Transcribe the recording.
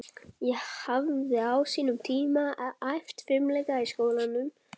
Ég hafði á sínum tíma æft fimleika í skólanum í